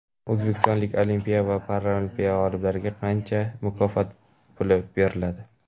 O‘zbekistonlik Olimpiya va Paralimpiya g‘oliblariga qancha mukofot puli beriladi?.